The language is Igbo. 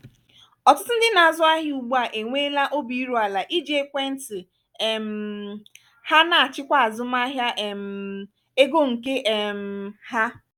ọtụtụ ndị na-azụ ahịa ugbu a enweela obi iru ala iji ekwentị um ha na-achịkwa azụmahịa um ego nke onwe um ha.